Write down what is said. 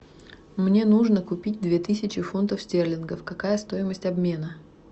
мне нужно купить две тысячи фунтов стерлингов какая стоимость обмена